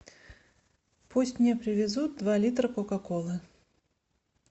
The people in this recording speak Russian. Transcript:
пусть мне привезут два литра кока колы